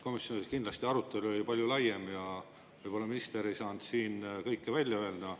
Komisjonis kindlasti arutelu oli palju laiem ja võib-olla minister ei saanud siin kõike välja öelda.